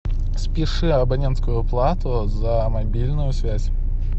спиши абонентскую плату за мобильную связь